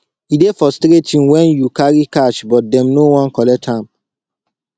e dey frustrating wen you carry cash but dem no wan collect am